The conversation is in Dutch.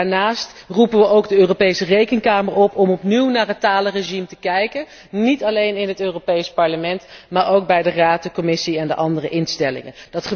Daarnaast roepen wij ook de Europese Rekenkamer op om opnieuw naar het talenregime te kijken, niet alleen in het Europees Parlement, maar ook bij de Raad, de Commissie en de andere instellingen.